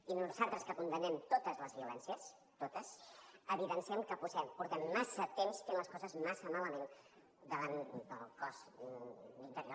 i nosaltres que condemnem totes les violències totes evidenciem que fa massa temps que fem les coses massa malament davant del cos d’interior